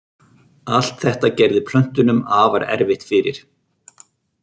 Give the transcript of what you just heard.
Allt þetta gerði plöntunum afar erfitt fyrir.